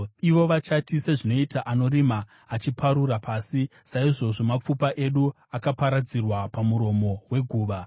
Ivo vachati, “Sezvinoita anorima achiparura pasi, saizvozvo mapfupa edu akaparadzirwa pamuromo weguva.”